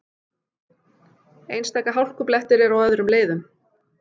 Einstaka hálkublettir eru á öðrum leiðum